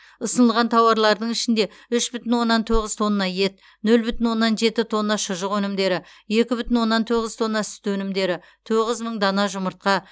ұсынылған тауарлардың ішінде үш бүтін оннан тоғыз тонна ет нөл бүтін оннан жеті тонна шұжық өнімдері екі бүтін оннан тоғыз тонна сүт өнімдері тоғыз мың дана жұмыртқа